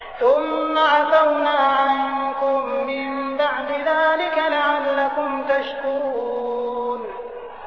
ثُمَّ عَفَوْنَا عَنكُم مِّن بَعْدِ ذَٰلِكَ لَعَلَّكُمْ تَشْكُرُونَ